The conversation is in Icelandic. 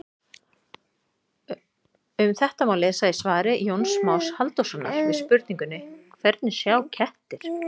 Um þetta má lesa í svari Jóns Más Halldórssonar við spurningunni Hvernig sjá kettir?